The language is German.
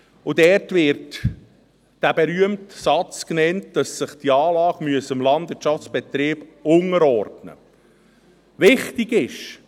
Dort wird der berühmte Satz genannt, dass sich die Anlage dem Landwirtschaftsbetrieb unterordnen müsse.